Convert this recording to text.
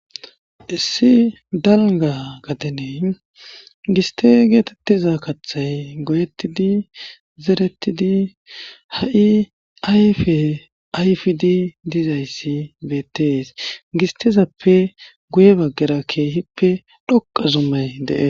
Issi dalga gadeney giste geetettiza kaththay goyetidi zerettidi ha'i ayfe ayfidi dizayssi beettees gistizappe guye baggerakkeehippe dhoqa zummay dee.